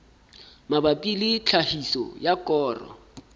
mabapi le tlhahiso ya koro